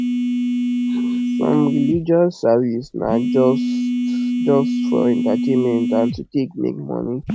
some religious services na just just for entertainment and to take make moni